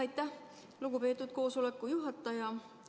Aitäh, lugupeetud koosoleku juhataja!